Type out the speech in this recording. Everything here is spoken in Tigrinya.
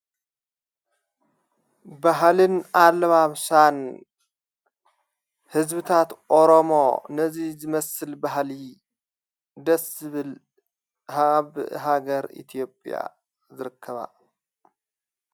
በሃልን ዓለማምሳን ሕዝብታት ኦሮሞ ነዙይ ዘመስል ብሃሊ ደስብል ሃብ ሃገር ኢቲዮጵያ ዘርከባ።